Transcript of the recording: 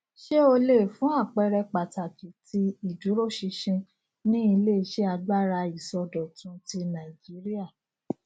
ṣé o lè fún àpẹẹrẹ pàtàkì tí ìdúróṣinṣin ní iléiṣẹ agbára ìsọdọtùn ti nàìjíríà